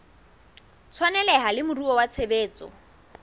tshwaneleha le moruo wa tshebetso